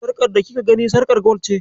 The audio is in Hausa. Sarƙar da kika gani, sarƙar gwal ce.